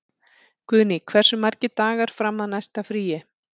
Guðný, hversu margir dagar fram að næsta fríi?